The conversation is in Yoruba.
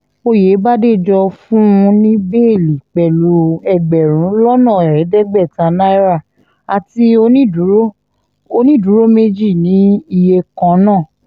oyèbàdéjọ fún un ní bẹ́ẹ́lí pẹ̀lú ẹgbẹ̀rún lọ́nà ẹ̀ẹ́dẹ́gbẹ̀ta náírà àti onídùúró onídùúró méjì ní iye kan náà